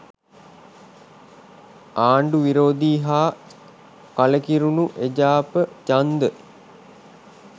ආණ්ඩු විරෝධී හා කලකිරුණු එජාප ඡන්ද